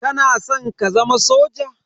Kana san ka zama soja?